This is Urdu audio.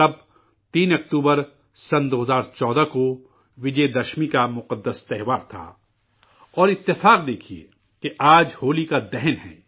تب 3 اکتوبر، 2014 کو وجے دشمی کا مقدس تہوار تھا اور اتفاق دیکھیے، کہ آج، ہولیکا دہن ہے